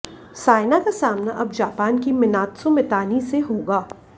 साइना का सामना अब जापान की मिनात्सु मितानी से होगा